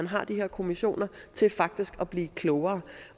har de her kommissioner til faktisk at blive klogere